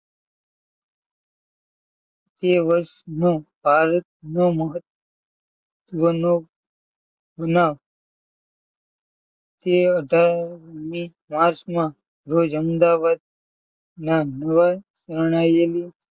બે વર્ષમાં ભારતનો એ અઢારમી માર્ચમાં રોજ અમદાવાદના